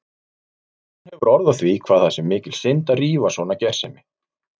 Hún hefur orð á því hvað það sé mikil synd að rífa svona gersemi.